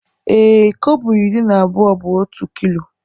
Ee, kobo iri na abụọ bụ otu kilo.